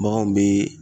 Baganw bɛ